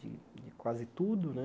De de quase tudo, né?